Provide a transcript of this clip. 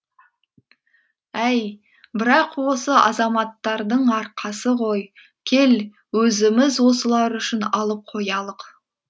әй бірақ осы азаматтардың арқасы ғой кел өзіміз осылар үшін алып қоялық